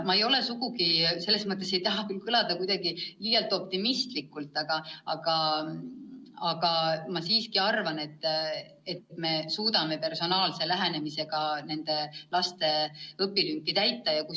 Ma ei taha küll kuidagi liialt optimistlik näida, aga ma siiski arvan, et me suudame personaalse lähenemisega nende laste õpilünki täita.